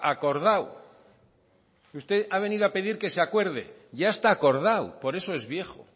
acordado usted ha venido a pedir que se acuerde ya está acordado por eso es viejo